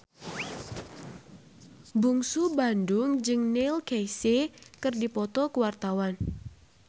Bungsu Bandung jeung Neil Casey keur dipoto ku wartawan